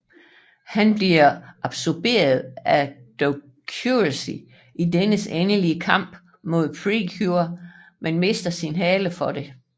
Han bliver absorberet af Dokuroxy i dennes endelige kamp mod Pretty Cure men mister sin hale før det